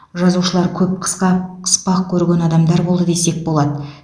жазушылар көп қысқа қыспақ көрген адамдар болды десек болады